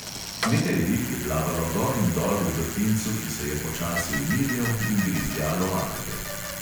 Nekaj rib je plavalo gor in dol v vrtincu, ki se je počasi umirjal, in grizljalo alge.